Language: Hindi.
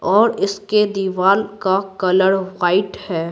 और इसके दीवार का कलर वाइट है।